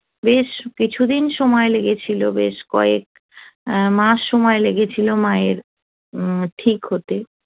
বেশ কিছুদিন সময় লেগেছিল বেশ কয়েক মাস সময় লেগেছিল মায়ের ঠিক হতে